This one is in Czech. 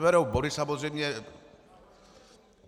Neberou body, samozřejmě.